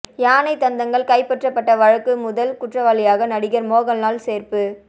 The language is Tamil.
யானை தந்தங்கள் கைப்பற்றப்பட்ட வழக்கு முதல் குற்றவாளியாக நடிகர் மோகன்லால் சேர்ப்பு